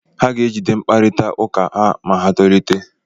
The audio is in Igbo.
Ha ga-ejide mkparita ụka ha ma ha tolite.